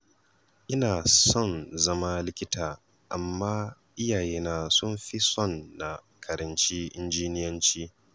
Ina son zama likita amma iyayena sun fi son na karanci injiniyanci